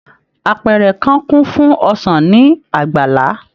Àpẹrẹ kàn kun fún ọsán ní àgbàlá.